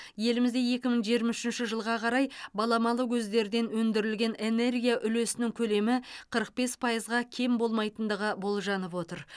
елімізде екі мың жиырма үшінші жылға қарай баламалы көздерден өндірілген энергия үлесінің көлемі қырық бес пайызға кем болмайтындығы болжанып отыр